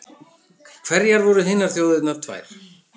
Hverjar voru hinar þjóðirnar tvær?